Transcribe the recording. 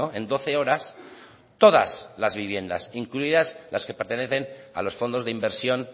en doce horas todas las viviendas incluidas las que pertenecen a los fondos de inversión